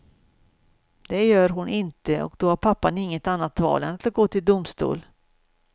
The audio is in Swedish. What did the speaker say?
Det gör hon inte och då har pappan inget annat val än att gå till domstol.